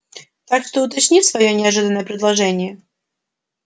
так что уточни своё неожиданное предложение